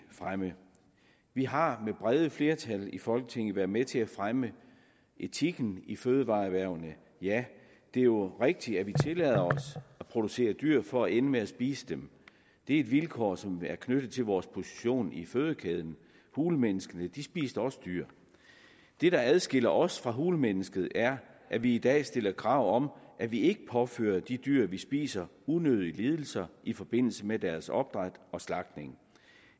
fremme vi har med brede flertal i folketinget været med til at fremme etikken i fødevareerhvervene ja det er jo rigtigt at vi tillader os at producere dyr for at ende med at spise dem det er et vilkår som er knyttet til vores position i fødekæden hulemennesket spiste også dyr det der adskiller os fra hulemennesket er at vi i dag stiller krav om at vi ikke påfører de dyr vi spiser unødige lidelser i forbindelse med deres opdræt og slagtning